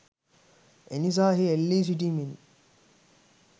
එනිසා එහි එල්ලී සිටිමින්